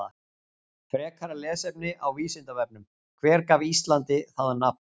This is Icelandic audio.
Frekara lesefni á Vísindavefnum: Hver gaf Íslandi það nafn?